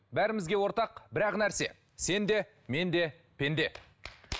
бәрімізге ортақ бір ақ нәрсе сен де мен де пенде